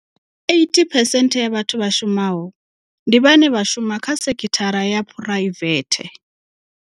80 percent ya vhathu vha shumaho, ndi vhane vha shuma kha sekithara ya phuraivethe.